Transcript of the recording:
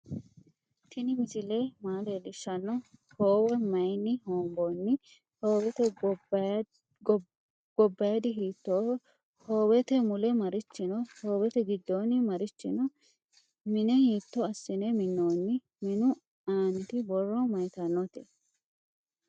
tini misile maa lelishsno? howe mayini honboni? howete gobadi hiitoho? howete mule marichi no? howete giddoni marichi no?minne hitto asine minonni? minnu anniti borro mayitanote?